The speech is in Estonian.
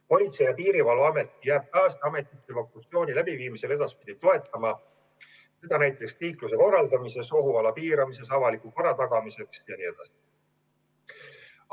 Politsei- ja Piirivalveamet jääb Päästeametit evakuatsiooni läbiviimisel edaspidi toetama, seda näiteks liikluse korraldamises, ohuala piiramises avaliku korra tagamiseks jne.